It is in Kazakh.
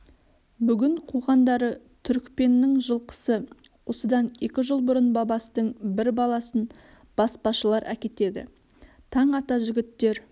бүгін қуғандары түрікпеннің жылқысы осыдан екі жыл бұрын бабастың бір баласын баспашылар әкетеді таң ата жігіттер